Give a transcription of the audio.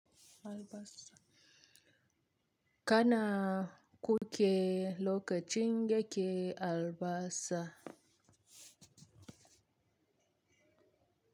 Kana ku ke lokacin yake albasa.